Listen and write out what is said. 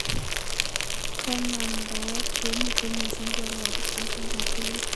Kanamndaet komitei missing koroboni ak kokaitit